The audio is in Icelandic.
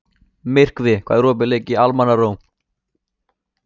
Myrkvi, hvað er opið lengi í Almannaróm?